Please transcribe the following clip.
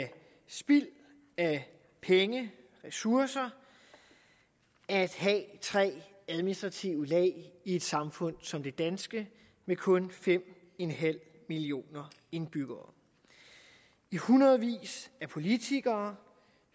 spild af penge af ressourcer at have tre administrative lag i et samfund som det danske med kun fem millioner indbyggere i hundredvis af politikere